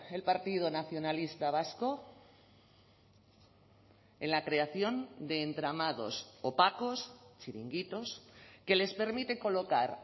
el partido nacionalista vasco en la creación de entramados opacos chiringuitos que les permite colocar